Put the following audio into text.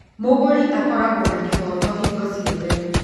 Mũgũri akoragwo na kĩhooto hingo ciothe